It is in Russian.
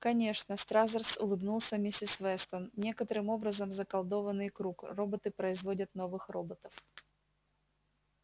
конечно стразерс улыбнулся миссис вестон некоторым образом заколдованный круг роботы производят новых роботов